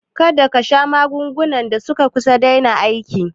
Kada kasha magungunan da suka daina aiki